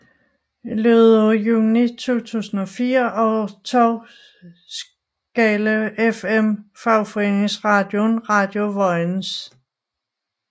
I løbet af juni 2004 overtog Skala FM fagforeningeradioen Radio Vojens